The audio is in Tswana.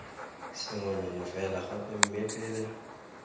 sengwenyana fela gape mme pele